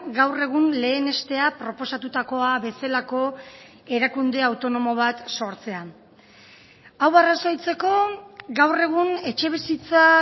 gaur egun lehenestea proposatutakoa bezalako erakunde autonomo bat sortzean hau arrazoitzeko gaur egun etxebizitza